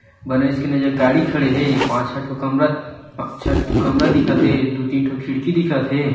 बने च कन ए जघा गाड़ी खड़े हे पाँच छे ठो कमरा छे ठो कमरा दिखत हे दु तीन ठो खिड़की दिखत हे।